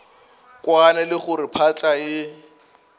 kwane le gore phahla e